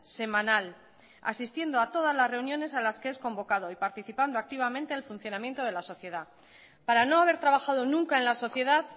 semanal asistiendo a todas las reuniones a las que es convocado y participando activamente al funcionamiento de la sociedad para no haber trabajado nunca en la sociedad